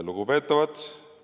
Lugupeetavad!